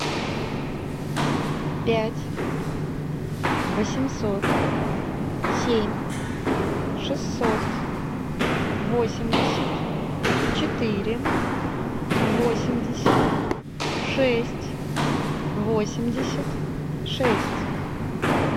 пять восемьсот семь шестьсот восемьдесят четыре восемьдесят шесть восемьдесят шесть